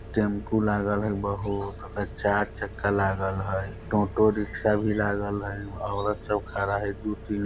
टैम्पू लागल हय बहुत ओकर चार चक्का लागल हय टोटो रिक्शा भी लागल हय औरत सभ खड़ा हय दु-तीन --